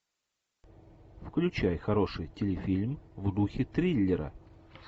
включай хороший телефильм в духе триллера